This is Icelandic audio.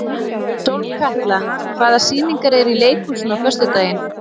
Sólkatla, hvaða sýningar eru í leikhúsinu á föstudaginn?